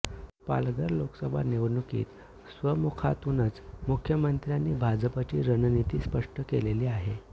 पालघर लोकसभा निवडणुकीत स्वमुखातूनच मुख्यमंत्र्यांनी भाजपची रणनीती स्पष्ट केलेली आहे